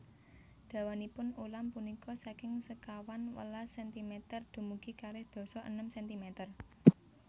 Dawanipun ulam punika saking sekawan welas sentimeter dumugi kalih dasa enem sentimeter